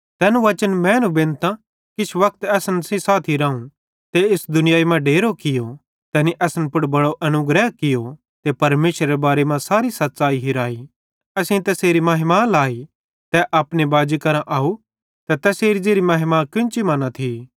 तैन वचन मैनू बेनतां किछ वक्त असन सेइं साथी रावं ते इस दुनियाई मां डेरो कियो तैनी असन पुड़ बड़ो अनुग्रह कियो ते परमेशरेरे बारे मां सारी सच़्च़ाई हिराई ज़ताली तै इड़ी थियो तैखन असेईं तैसेरी महिमा लाई ज़ेन्च़रां की तै अपने बाजी परमेशरे करां आव त तैसेरी ज़ेरी महिमा कोन्ची मां नईं थी